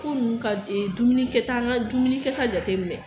Ko ninnu ka dumuni kɛta an ka dumuni kɛta jateminɛ